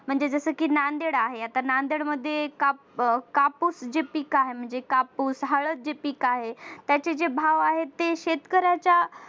म्हणजे जस की नांदेड आहे नांदेड मध्ये कापूस जे पीक आहे म्हणजे कापूस हळदी जे पीक आहे त्याचे जे भाव आहे शेतकऱ्याच्या